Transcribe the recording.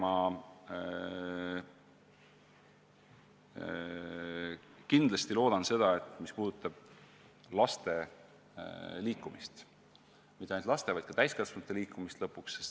Ma kindlasti loodan, et liikuma kutsuva kooli programmi elluviimine muutub järjest süsteemsemaks.